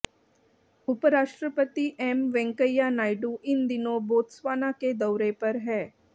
उपराष्ट्रपति एम वेंकैया नायडू इन दिनों बोत्सवाना के दौरे पर हैं